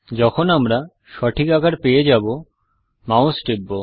যখন আমরা সঠিক আকার পেয়ে যাব মাউস টিপব